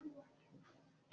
Ṣé obìnrin ń jẹ́ jímọ̀h?